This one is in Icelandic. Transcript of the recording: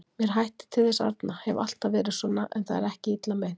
Mér hættir til þess arna, hef alltaf verið svona, en það er ekki illa meint.